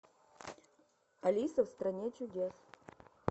алиса в стране чудес